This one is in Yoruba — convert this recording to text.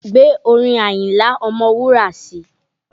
Gbé orin Àyìnlá ọmọwúrà sì!